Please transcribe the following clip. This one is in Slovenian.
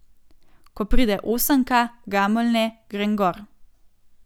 Ko pride osemka, Gameljne, grem gor.